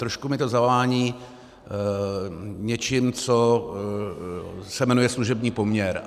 Trošku mi to zavání něčím, co se jmenuje služební poměr.